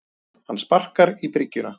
Hann sparkar í bryggjuna.